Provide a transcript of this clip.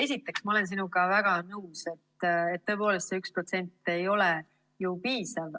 Esiteks, ma olen sinuga väga nõus, et see 1% ei ole tõepoolest piisav.